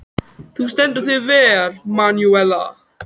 Þú stendur þig vel, Manúella!